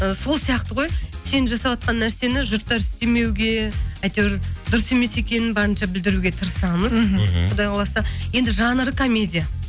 ы сол сияқты ғой сен жасаватқан нәрсені жұрттар істемеуге әйтеуір дұрыс емес екенін барынша білдіруге тырысамыз мхм құдай қаласа енді жанры комедия